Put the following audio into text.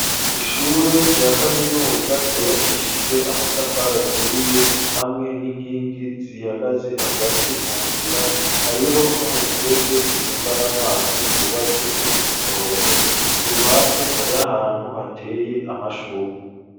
Ishure rya kaminuza ryubakishijwe amatafara aturiye hamwe n'inkingi zihagaze hagati mu nzira. Hariho n'umufurege utembana amazi, wubatse uri k'umurongo. K'uruhande hari ahantu hateye amashurwe